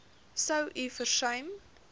sou u versuim